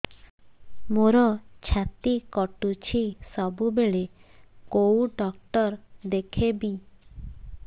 ମୋର ଛାତି କଟୁଛି ସବୁବେଳେ କୋଉ ଡକ୍ଟର ଦେଖେବି